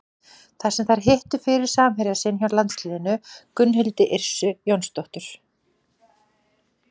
Þar sem þær hittu fyrir samherja sinn hjá landsliðinu, Gunnhildi Yrsu Jónsdóttur.